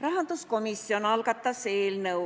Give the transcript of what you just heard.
Rahanduskomisjon algatas